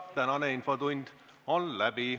Tänane infotund on läbi.